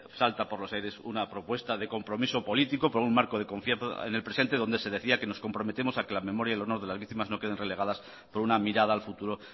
salta por los aires una propuesta de compromiso político por un marco de confianza en el presente donde se decía que nos comprometemos a que la memoria y el honor de las víctimas no queden relegadas por una mirada al futuro